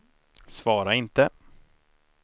svara inte